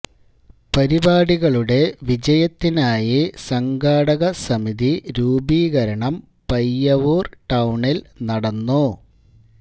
പരിപാടികളുടെ വിജയത്തിനായി സംഘാടക സമിതി രൂപീകരണം പയ്യവൂര് ടൌണില് നടന്നു